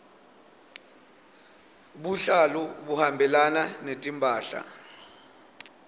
buhlalu buhambelana netimphahla